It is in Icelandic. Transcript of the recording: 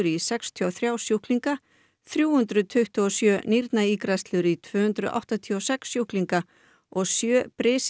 í sextíu og þrjá sjúklinga þrjú hundruð tuttugu og sjö nýrnaígræðslur í tvö hundruð áttatíu og sex sjúklinga og sjö